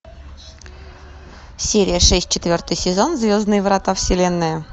серия шесть четвертый сезон звездные врата вселенная